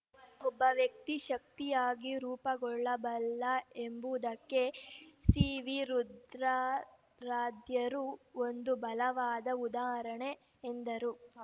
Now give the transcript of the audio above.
ಒಬ್ಬ ವ್ಯಕ್ತಿ ಶಕ್ತಿಯಾಗಿಯೂ ರೂಪುಗೊಳ್ಳಬಲ್ಲ ಎಂಬುವುದಕ್ಕೆ ಸಿವಿ ರುದ್ರಾರಾಧ್ಯರು ಒಂದು ಬಲವಾದ ಉದಾಹರಣೆ ಎಂದರು